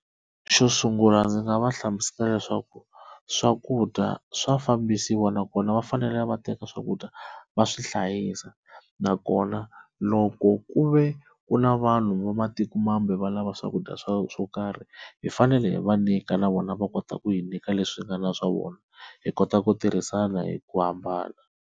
Xo sungula ndzi nga va hlamusela leswaku swakudya swa fambisiwa nakona va fanele va teka swakudya va swi hlayisa, nakona loko ku ve ku na vanhu va matikomambe va lava swakudya swo swo karhi hi fanele hi va nyika na vona va kota ku hi nyika leswi nga na swa vona hi kota ku tirhisana hi ku hambana.